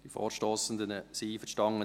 Die Vorstossenden sind einverstanden: